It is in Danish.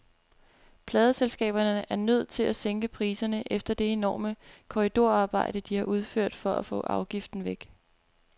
Pladeselskaberne er nødt til at sænke prisen efter det enorme korridorarbejde, de har udført for at få afgiften væk.